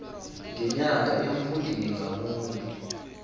ngenyanga emfundini ngamunye